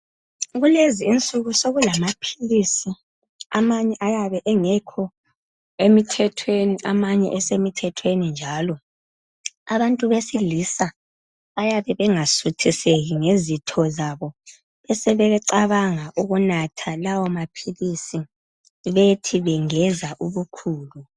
Kulezi insuku sokulama philisi amanye ayabe engekho emithethweni amanye esemithethweni njalo. Abantu besilisa oyabe engasuthiseki ngezitho zabo bebe sebecabanga ukunatha lawo maphilisi bethi bengeza ubukhulu.